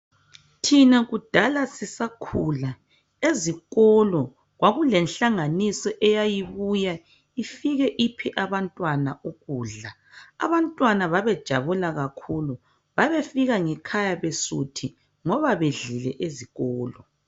Thina kudala sisakhula, ezikolo kwakulenhlanganiso eyayibuya ifike iphe abantwana ukudla. Abantwana babejabula kakhulu. Babefika ngekhaya besuthi ngoba bedlile ezikolo.